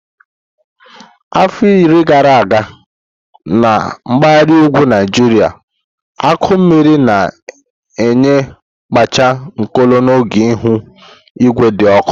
Afọ iri gara aga na mpaghara ugwu Naijiria akụ mmiri na-enye kpachi nkolo n'oge ihu igwe dị ọkụ.